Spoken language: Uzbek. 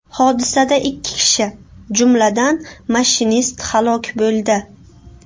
Hodisada ikki kishi, jumladan, mashinist halok bo‘ldi.